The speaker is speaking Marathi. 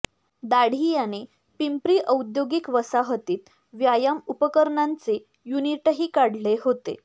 दाढी याने पिंपरी औद्योगिक वसाहतीत व्यायाम उपकरणांचे युनिटही काढले होते